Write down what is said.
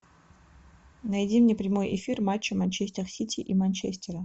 найди мне прямой эфир матча манчестер сити и манчестера